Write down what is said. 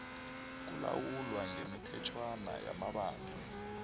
kulawulwa ngemithetjhwana yamabandla